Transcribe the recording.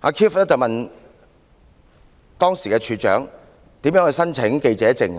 當時 Keith 問處長如何申請記者證，